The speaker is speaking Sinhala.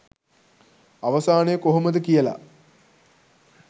අවසානය කොහොමද කියලා.